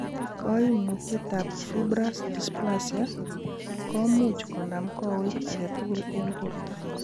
Koimutietab Fibrous dysplasia komuch konam kowet agetukul en borto.